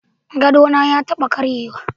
Gadona ya taba karyewa.